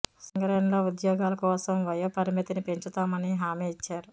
సింగరేణిలో ఉద్యోగాల కోసం వయోప రిమితిని పెంచుతామని హామి ఇచ్చారు